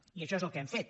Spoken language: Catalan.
i això és el que hem fet